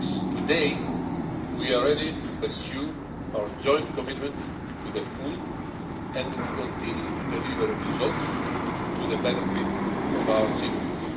Today, we are ready to pursue our joint commitment to the full and continue to deliver results for the benefit of our citizens.